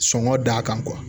Sɔngɔ d'a kan